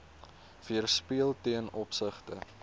weerspieël ten opsigte